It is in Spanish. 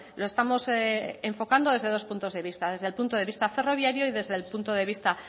lo estamos enfocando desde dos puntos de vista desde el punto de visto ferroviario y desde el punto de vista